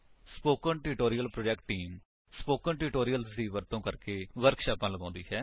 spoken tutorial project team spoken tutorials ਦੀ ਵਰਤੋ ਕਰਕੇ ਵਰਕਸ਼ਾਪਾਂ ਲਗਾਉਂਦੀ ਹੈ